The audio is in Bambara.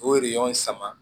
O sama